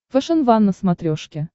фэшен ван на смотрешке